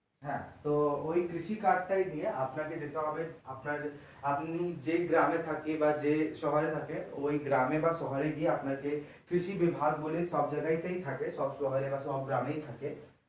হ্যাঁ তো ওই কৃষি card টাই নিয়ে আপনাকে যেতে হবে আপনার আপনি যেই গ্রামে থাকেন বাঃ যে শহরে থাকেন ওই গ্রামে বা শহরে গিয়ে আপনাকে কৃষিবিভাগ বলে সবজায়গায় তেই থাকে সব শহরে বা গ্রামেই থাকে।